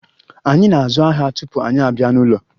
Anyị na-azụ ahịa tupu anyị abịa n'ụlọ.